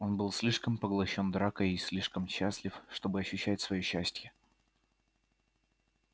он был слишком поглощён дракой и слишком счастлив чтобы ощущать своё счастье